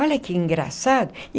Olha que engraçado.